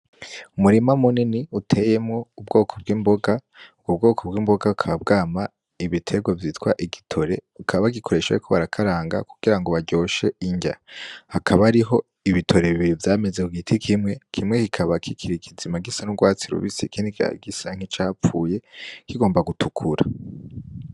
Umurima munini uteyemwo ubwoko bw'imboga bukaba bwama igiterwa vyitwa igitore bakaba bagikoresha bariko barakaranga kugirango baryoshe irya, hakaba hariho ibitore bibiri vyameze kugiti kimwe kikaba kikiri kizima gisa n'urwatsi rubisi ikindi gisa nkicavuye kigomba gutukura